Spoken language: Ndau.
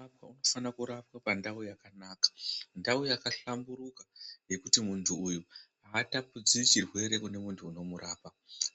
Vantu vanofana kurapwa pandau yakanaka, ndau yakahlamburuka yekuti muntu atapudziri chirwere kune muntu unomurapa.